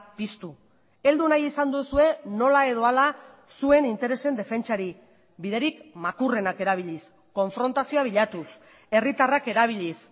piztu heldu nahi izan duzue nola edo hala zuen interesen defentsari biderik makurrenak erabiliz konfrontazioa bilatuz herritarrak erabiliz